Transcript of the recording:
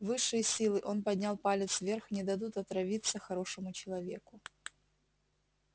высшие силы он поднял палец вверх не дадут отравиться хорошему человеку